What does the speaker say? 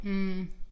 Mh